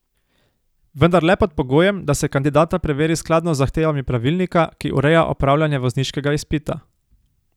Vendar le pod pogojem, da se kandidata preveri skladno z zahtevami pravilnika, ki ureja opravljanje vozniškega izpita.